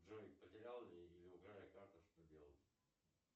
джой потерял или украли карту что делать